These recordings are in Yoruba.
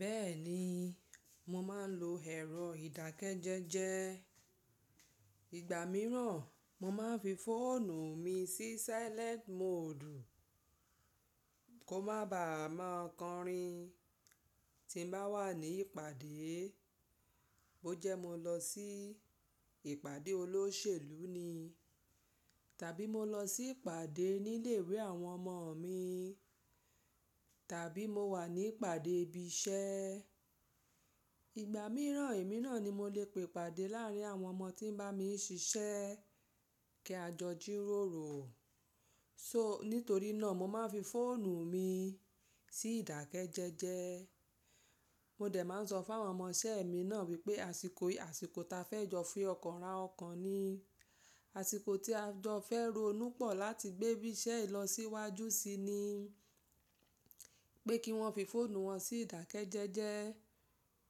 Bẹ́ẹ̀ni, mo máa ń lo ẹ̀rọ ìdákẹ́jẹ́jẹ́. Ìgbà mìíràn, mo máa ń fi fóònù mi sí silent mode kó má ba à máa kọrin. Tí mo bá wà ní ìpàdé, bó jẹ́ mo lọ sí ìpàdé olóṣèlú ni, tàbí mo lọ sí ìpàdé nílé ìwé àwọn ọmọ mi, tàbí mo wà ní ìpàdé ibi iṣẹ́. Ìgbà mìíràn èmi náà ni mo lè pe ìpàdé láàárín àwọn ọmọ tí ń bá mi ṣiṣẹ́ kí a jọ jíróòrò. So nítorí náà mo máa ń fi fóònù mi sí ìdákẹ́jẹ́jẹ́. Mo dẹ̀ máa ń sọ fún àwọn ọmọ iṣẹ́ mi náà wípé àsìkò, àsìkò ta fẹ́ jọ fi ọkàn ra ọkàn ni. Àsìkò tí a jọ fẹ́ ronú pọ̀ láti gbé iṣẹ́ yìí lọ síwájú si ni pé kí wọ́n fi fóònù wọn sí ìdákẹ́jẹ́jẹ́.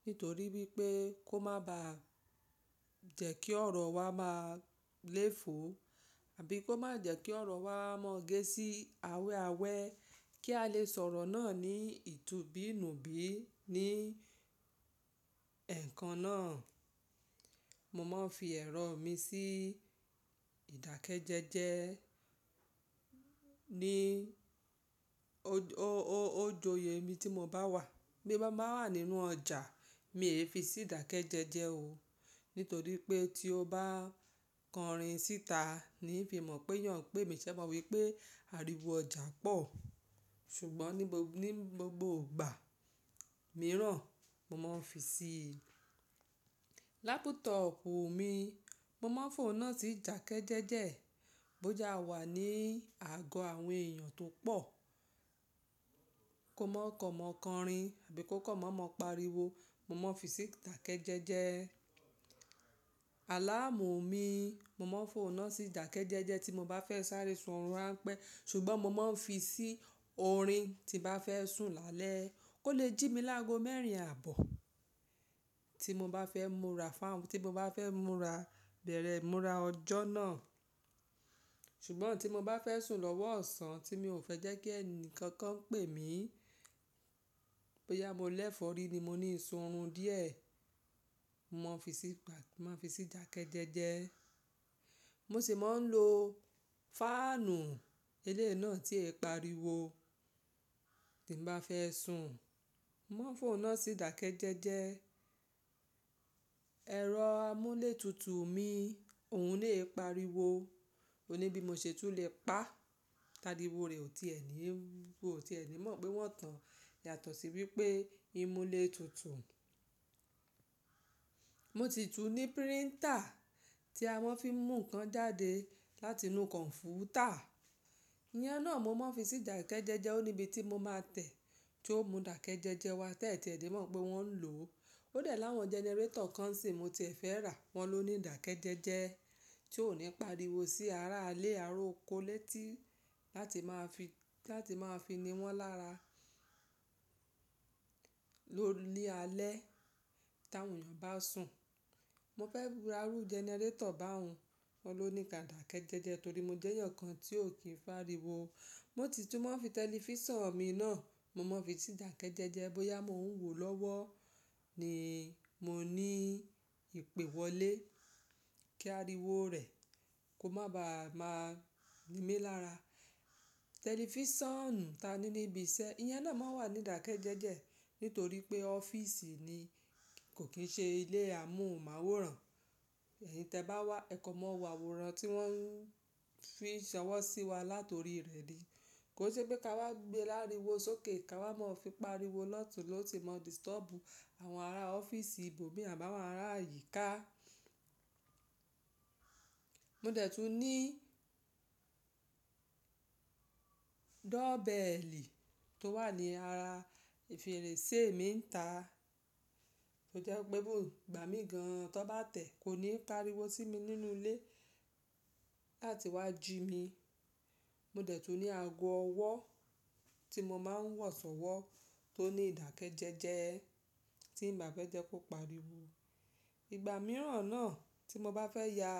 Nítorí wípé kó má ba jẹ̀ kí ọ̀rọ̀ wa máa léfo àbí kó má jẹ̀ kí ọ̀rọ̀ wa máa gé sí awẹ́awẹ́ kí a lè sọ̀rọ̀ náà ní ìtunbínùbí ní ẹ̀ẹ̀kan náà. Mo máa ń fi ẹ̀rọ mi sí ìdákẹ́jẹ́jẹ́ ní o-o-o-ojo ye bi tí mo bá wà. Bí mo bá wà nínú ọjà, mi e fi sí ìdákẹ́jẹ́jẹ́ o. Nítorí pé tí ó bá kọrin síta níí fi mọ̀ pé'yàn n pẹ́ mì ṣẹ́ mo wípé ariwo ọjà pọ̀. Ṣùgbọ́n ní gbogbo ìgbà mìíràn mo máa ń fi sí lápútọ̀pù mi. Mo máa ń fòun náà sí ìdákẹ́jẹ́jẹ́ bó jẹ́ a wà ní àgọ́ àwọn èèyàn tó pọ̀ kó má kan mọ̀ kọrin àbí kó kan mọ̀mo pariwo, mo máa ń fi sí ìdákẹ́jẹ́jẹ́. Àláàmù mi, mo máa ń fò ó náà sí ìdákẹ́jẹ́jẹ́ tí mo bá fẹ́ sáré sun orun ránpẹ́. Ṣùgbọ́n mo máa ń fi sí orin tí bá fẹ́ sùn lálẹ́ kó lè jí mi lágo mẹ́rin àbọ̀ tí mo bá fẹ́ múra fún, tí mo bá fẹ́ múra bẹ̀rẹ̀ múra ọjọ́ náà. Ṣùgbọ́n tí mo bá fẹ́ sùn lọ́wọ́ ọ̀sán tí mi ò fẹ́ jẹ́ kí ẹni kankan pè mí, pé yá mo lẹ́fọ̀rí ni mo ní sun orun díẹ̀, mo máa ń fi sí ìdákẹ́jẹ́jẹ́. Mo sì máa ń lo fáànù eléyi náà tí i pariwo tí mo bá fẹ́ sùn, mo máa ń fòun náà sí ìdákẹ́jẹ́jẹ́. Ẹ̀rọ amúlétutù mi òun lè pariwo. O ní bí mo ṣe tún lè pa, tàríwo rẹ̀ ò tiẹ ni, ò ti ẹ ni mọ̀ pé wọ́n tan. Yàtọ̀ sí wípé ìmúlé tutù. Mo ti tún ní printer tí a máa ń fi mú nǹkan jáde láti inú kọ̀npútà. Iyen náà mo máa ń fi sí ìdákẹ́jẹ́jẹ́. Ó níbi tí mo máa tẹ̀ tí ó mú ìdákẹ́jẹ́jẹ́ wá tẹ́ẹ̀ tí ẹ̀ní mọ̀ pé wọ́n ń lò ó. Ó dẹ̀ láwọn generator kan sìn mo ti e fẹ́ rà, wọn ló ní ìdákẹ́jẹ́jẹ́ tí ò ní pariwo sí ara ilé aró okó létí láti máa fi, láti máa fi ni wọ́n lára ni alẹ́ tàwọn èèyàn bá sùn. Mo fẹ́ ra rú generator báun, wọ́n ló ní ìdákẹ́jẹ́jẹ́ torí mo jẹ́yan kan tí ò kí n f'ariwo. Mo ti tún máa ń fi tẹlifísàn mi náà, mo máa ń fi sí ìdákẹ́jẹ́jẹ́ bóyá mo ń wò lọ́wọ́ ni mo ní ìpè wọlé kí ariwo rẹ̀ kó má ba à máa ni mí lára. Tẹlifísàn ta ní níbi iṣẹ́, iyen náà máa ń wà ní ìdákẹ́jẹ́jẹ́ nítorí pé ọ́fíìsì ni kò kín ṣe ilé amóhùnmáwòrán. Ẹ̀yin tẹ bá wá, ẹ kò mọ̀ wò àwòrán tí wọ́n ń fi ṣọwọ́ sí wa latorí rẹ̀ ni. Kò se pé ká wá gbé láriwo sókè, ká wá máa ń fi pariwo lọ̀túnlọ̀tún mó dìstọ́bù àwọn ará ọ́fíìsì ibòmí àbáwọn ará àyíká. Mo dẹ̀ tún ní door bell. Tó wà ní ara fèrèsé mi ńta, ó jẹ́ pé even igbàmí gan-an tan bá tẹ̀ kó ní pariwo sí mi nínú ilé láti wá jí mi. Mo dẹ̀ tún ní ago ọwọ́ tí mo máa ń wọ̀sọ́wọ́ tó ní ìdákẹ́jẹ́jẹ́ tí n bá fẹ́ jẹ́ kó pariwo. Ìgbà mìíràn náà tí mo bá fẹ́ ya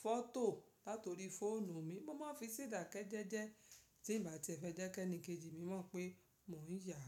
fọ́tò latorí fóònù mi, mo máa ń fi sí ìdákẹ́jẹ́jẹ́ tí n bá tie fẹ́ jẹ́ kí ẹnikejì mi mọ̀ pé mò ń ya.